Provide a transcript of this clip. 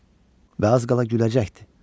Və az qala güləcəkdi.